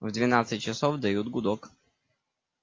в двенадцать часов дают гудок